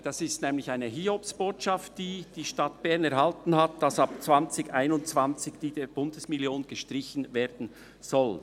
Das ist nämlich eine Hiobsbotschaft, welche die Stadt Bern erhalten hat, dass ab 2021 diese Bundesmillion gestrichen werden soll.